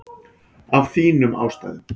Af þínum ástæðum.